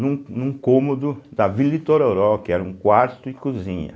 num num cômodo da Vila Itororó, que era um quarto e cozinha.